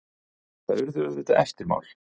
Það urðu auðvitað eftirmál.